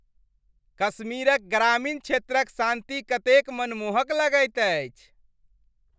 कश्मीरक ग्रामीण क्षेत्रक शान्ति कतेक मनमोहक लगैत अछि।